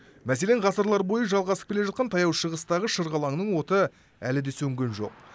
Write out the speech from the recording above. мәселен ғасырлар бойы жалғасып келе жатқан таяу шығыстағы шырғалаңның оты әлі де сөнген жоқ